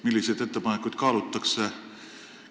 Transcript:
Milliseid ettepanekuid kaalutakse?